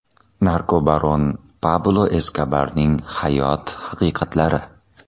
Narkobaron Pablo Eskobarning hayot haqiqatlari.